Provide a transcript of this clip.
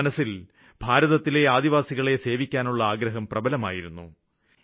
ഇവരുടെ മനസ്സില് ഭാരതത്തിലെ ആദിവാസികളെ സേവിക്കാനുള്ള ആഗ്രഹം പ്രബലമായിരിക്കുന്നു